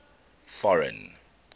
foreign